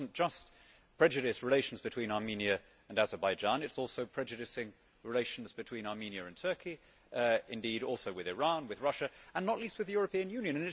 It does not just prejudice relations between Armenia and Azerbaijan, it is also prejudicing relations between Armenia and Turkey indeed also with Iran, with Russia and not least with the European Union.